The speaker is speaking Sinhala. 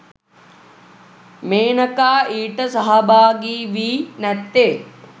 මේනකා ඊට සහභාගිවී නැත්තේ